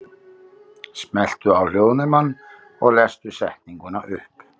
Það er ekki til einseyringur í kotinu.